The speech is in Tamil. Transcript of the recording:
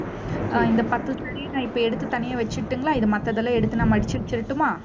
அஹ் இந்த பத்து saree நான் இப்ப எடுத்து, தனியா வச்சிட்டுங்களா இது மத்ததெல்லாம் எடுத்து நான் மடிச்சு வச்சுரட்டுமா